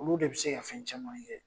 Olu de bi se ka fɛn caman kɛ.